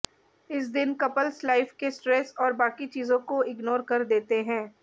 इस दिन couples life के स्ट्रेस और बाकी चीजों को इग्नोर कर देते हैं